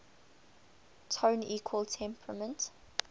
tone equal temperament